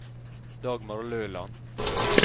Dagmar Løland